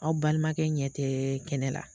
Aw balimakɛ ɲɛ tɛ kɛnɛ la.